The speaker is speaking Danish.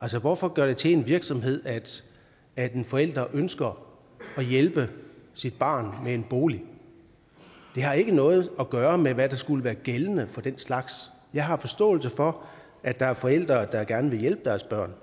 altså hvorfor gøre det til en virksomhed at en forælder ønsker at hjælpe sit barn med en bolig det har ikke noget at gøre med hvad der skulle være gældende for den slags jeg har forståelse for at der er forældre der gerne vil hjælpe deres børn